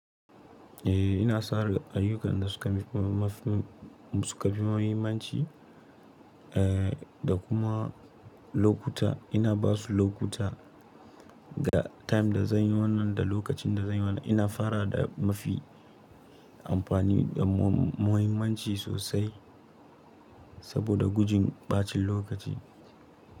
Eh ina sauran ayyukan da suka fi mahimmanci, eh da kuma lokuta ina ba su lokuta ga time da zan yi wannan da lokacin da zan yi wannan. Ina fara da mafi amfani da muhimmanci sosai saboda gujin ɓacin lokaci.